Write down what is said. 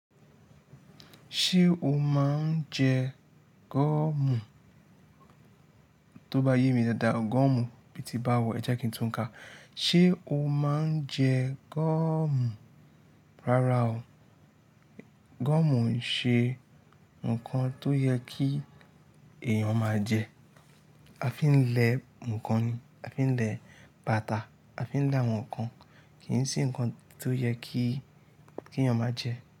Ṣé o máa ń jẹ gọ́ọ̀mù? Tó bá yé mi dáadáa, gọ́ọ̀mù bí ti báwo, ẹ jẹ́ kí n tún nǹka. Ṣé o máa ń jẹ gọ́ọ̀mù? Rárá o gọ́ọ̀mù o ń ṣe nkan tó yẹ kí èyàn máa jẹ a fi ń lẹ nkan ni a fi ń lẹ bàtà a fi ń lẹ àwọn nkan. Kì í ṣe nǹkan tó yẹ kí, kí èèyàn máa jẹ.